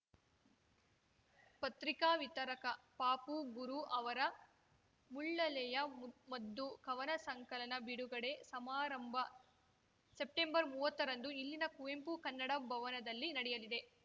ಪತ್ರಿಕಾ ವಿತರಕ ಪಾಪು ಗುರು ಅವರ ಮುಳ್ಳಲೆಯ ಮದ್ದು ಕವನ ಸಂಕಲನ ಬಿಡುಗಡೆ ಸಮಾರಂಭ ಸೆಪ್ಟೆಂಬರ್ಮೂವತ್ತರಂದು ಇಲ್ಲಿನ ಕುವೆಂಪು ಕನ್ನಡ ಭವನದಲ್ಲಿ ನಡೆಯಲಿದೆ